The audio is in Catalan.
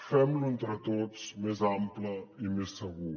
femlo entre tots més ample i més segur